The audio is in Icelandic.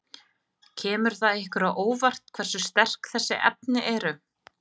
Kemur það ykkur á óvart hversu sterk þessi efni eru?